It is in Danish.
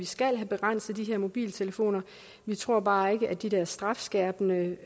skal have begrænset brugen af de her mobiltelefoner vi tror bare ikke at de der strafskærpende